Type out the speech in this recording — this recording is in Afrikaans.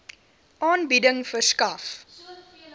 aanbieding verskaf